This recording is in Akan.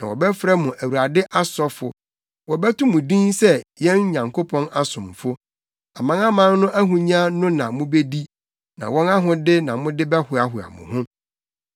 Na wɔbɛfrɛ mo Awurade asɔfo, wɔbɛto mo din sɛ yɛn Nyankopɔn asomfo. Amanaman no ahonya no na mubedi na wɔn ahode na mode bɛhoahoa mo ho.